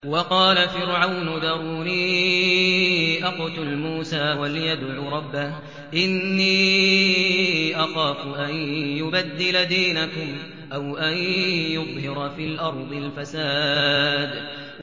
وَقَالَ فِرْعَوْنُ ذَرُونِي أَقْتُلْ مُوسَىٰ وَلْيَدْعُ رَبَّهُ ۖ إِنِّي أَخَافُ أَن يُبَدِّلَ دِينَكُمْ أَوْ أَن يُظْهِرَ فِي الْأَرْضِ الْفَسَادَ